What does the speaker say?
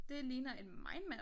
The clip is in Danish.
Det ligner et mindmap